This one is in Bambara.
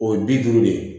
O ye bi duuru de ye